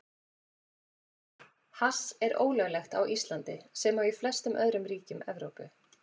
Hass er ólöglegt á Íslandi, sem og í flestum öðrum ríkjum Evrópu.